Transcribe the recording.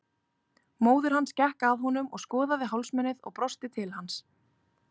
Móðir hans gekk að honum og skoðaði hálsmenið og brosti til hans.